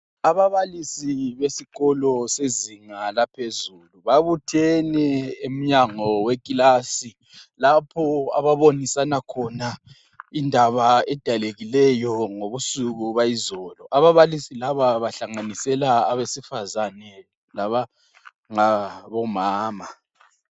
Ababalisi besikolo sezinga laphezulu babuthene emnyango wekilasi lapho ababonisana khona indaba edalekileyo ngobusuku bayizolo .Ababalisi laba bahlanganisela abesifazane labangabomama.